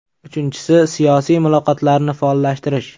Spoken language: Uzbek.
Uchinchisi, siyosiy muloqotlarni faollashtirish.